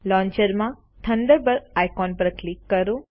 launcher માં Thunderbird icon પર click કરો